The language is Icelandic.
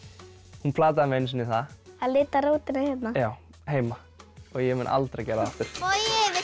hún plataði mig einu sinni í það að lita rótina hérna já heima og ég mun aldrei gera það aftur bogi vilt